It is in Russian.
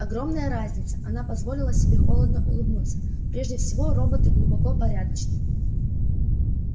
огромная разница она позволила себе холодно улыбнуться прежде всего роботы глубоко порядочны